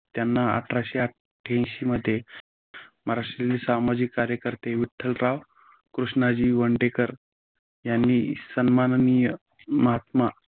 त्यांना अठराशे आठ्यानशी मध्ये महाराष्ट्रीय सामाजिक कार्यकर्ते विठ्ठलराव कृष्णाजी वंडेकर यांनी सन्माननीय महात्मा